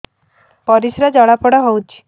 ପରିସ୍ରା ଜଳାପୋଡା ହଉଛି